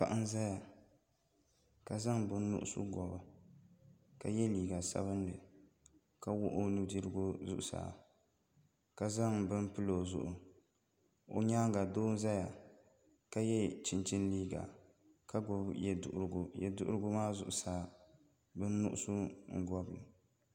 Paɣa n ʒɛya ka zaŋ bin nuɣso bobi ka yɛ liiga sabinli ka wuɣi o nudirigu zuɣusaa ka zaŋ bini pili o zuɣu o nyaanga doo n ʒɛya ka yɛ chinchin liiga ka gbubi yɛ duɣurigu yɛ duɣurigu maa zuɣusaa bin nuɣso n bobli